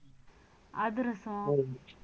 அதிரசம்